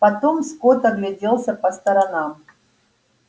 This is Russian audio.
потом скотт огляделся по сторонам